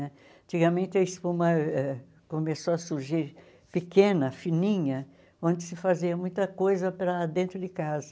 Né? Antigamente, a espuma começou a surgir pequena, fininha, onde se fazia muita coisa para dentro de casa.